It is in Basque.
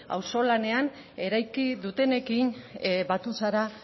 auzo lanean eraiki dutenekin batu zara